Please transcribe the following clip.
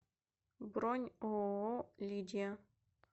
бронь ооо лидия